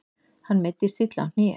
Hann meiddist illa á hné.